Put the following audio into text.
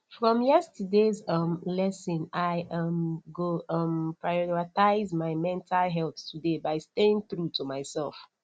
from yesterdays um lesson i um go um prioritize my mental health today by staying true to myself